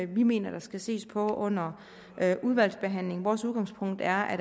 vi mener der skal ses på under udvalgsbehandlingen vores udgangspunkt er at